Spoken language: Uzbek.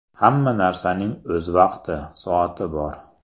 Hamma narsaning o‘z vaqti, soati bor.